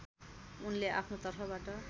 उनले आफ्नो तर्फबाट